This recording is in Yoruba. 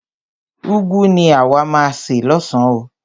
Úgwu ni àwa má a se lọ́san oo.